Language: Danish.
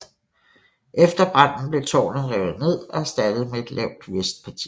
Efter branden blev tårnet revet ned og erstattet med et lavt vestparti